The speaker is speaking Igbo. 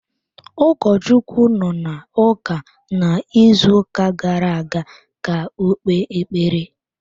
Ụkọchukwu nọ n’ụka n’izuuka gara-aga ka ọ kpee ekpere.